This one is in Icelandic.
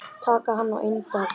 Taka hann á eintal.